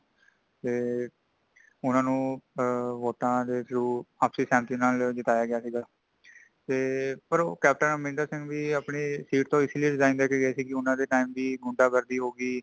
ਤੇ ਊਨਾ ਨੂੰ ਆ vote ਦੇ throw| ਆਪਸੀ ਸਹਿਮਤੀ ਨਾਲ ਜਿਤਾਇਆ ਗਿਆ ਸੀਗਾ ਤੇ ਕੈਪਟਨ ਅਮਰਿੰਦਰ ਸਿੰਘ ਵੀ ਆਪਣੀ seat ਤੋਂ ਇਸ ਲਇਐ resign ਦੇ ਕੇ ਗਏ ਸੀ ਕੇ ਊਨਾ ਦੇ time ਤੇ ਗੁੰਡਾ- ਗਰਦੀ, ਹੋਗੀ।